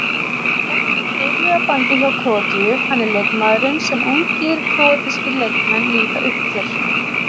Er með fyrirliðabandið hjá Króatíu, hann er leikmaðurinn sem ungir króatískir leikmenn líta upp til.